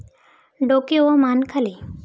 डोके व मान खाली.